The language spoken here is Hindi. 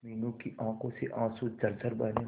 मीनू की आंखों से आंसू झरझर बहने लगे